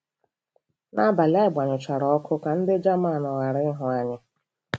Nabalị, anyị gbanyụchara ọkụ ka ndị Jaman ghara ịhụ anyi.